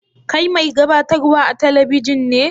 Kai mai gabatarwa a'telibijin ne?